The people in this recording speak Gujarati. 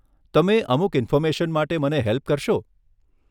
તમે અમુક ઇન્ફોર્મેશન માટે મને હેલ્પ કરશો?